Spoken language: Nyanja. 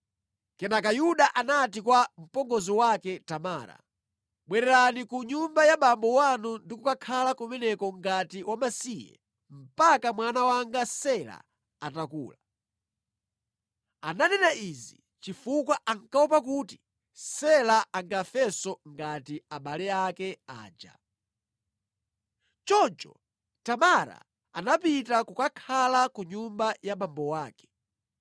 Kenaka Yuda anati kwa mpongozi wake Tamara, “Bwererani ku nyumba ya abambo anu ndi kukhala kumeneko ngati wamasiye mpaka mwana wanga Sela atakula.” Ananena izi chifukwa ankaopa kuti Sela angafenso ngati abale ake aja. Choncho Tamara anapita kukakhala ku nyumba ya abambo ake.